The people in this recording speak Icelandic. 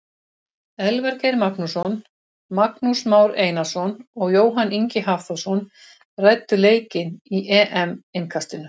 Elvar Geir Magnússon, Magnús Már Einarsson og Jóhann Ingi Hafþórsson ræddu leikinn í EM innkastinu.